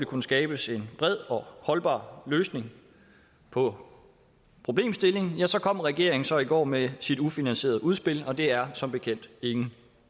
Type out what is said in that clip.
kunne skabes en bred og holdbar løsning på problemstillingen kom regeringen så i går med sit ufinansierede udspil og det er som bekendt ingen